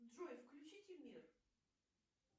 джой включите мир